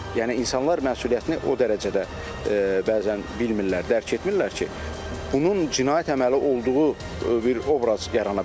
Yəni insanlar məsuliyyətini o dərəcədə bəzən bilmirlər, dərk etmirlər ki, bunun cinayət əməli olduğu bir obraz yarana bilər.